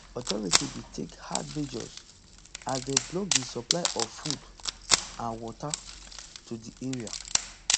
authorities bin take hard measure as dem block di supply of food and water to di area